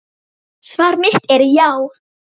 Svar mitt er já.